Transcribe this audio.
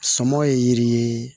Sɔmɔ ye yiri ye